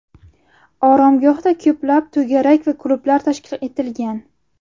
Oromgohda ko‘plab to‘garak va klublar tashkil etilgan.